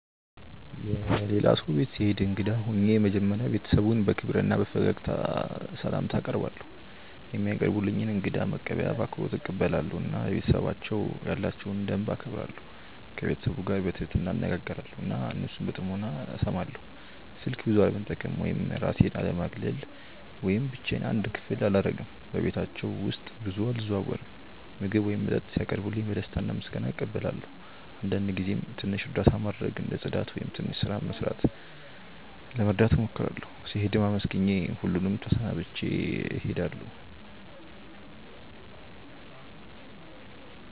የሌላ ሰው ቤት ስሄድ እንግዳ ሆኜ መጀመሪያ ቤተሰቡን በክብር እና በፈገግታ ስላምታ አቀርባለው፧ የሚያቀርቡልኝን እንግዳ መቀበያ በአክብሮት እቀበላለሁ እና ለቤተሰባቸው ያላቸውን ደንብ እከብራለሁ። ከቤተሰቡ ጋር በትህትና እነጋገራለው እና እነሱን በጥሞና እስማለው። ስልክ ብዙ አለመጠቀም ወይም እራሴን አለማግለል ወይም ብቻዮን አንድ ክፍል አላረግም በቤታቸው ውስጥ ብዙ አልዘዋወርም። ምግብ ወይም መጠጥ ሲያቀርቡልኝ በደስታ እና በምስጋና እቀበላለው አንዳንድ ጊዜም ትንሽ እርዳታ ማድረግ እንደ ጽዳት ወይም ትንሽ ስራ መርዳት እሞክራለሁ። ስሄድም አመስግኜ ሁሉን ተሰናብቼ እሄዳለሁ።